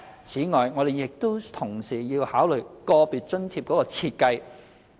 此外，我們亦須同時考慮個別津貼的設計。